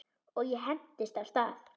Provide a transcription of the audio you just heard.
Og ég hentist af stað.